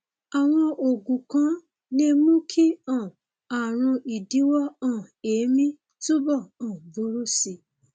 àwọn oògùn kan lè mú kí um ààrùn ìdíwọ um èémí túbọ um burú sí i